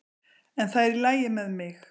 En það er í lagi með mig.